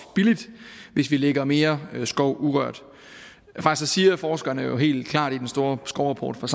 billigt hvis vi lægger mere skov urørt faktisk siger forskerne jo helt klart i den store skovrapport fra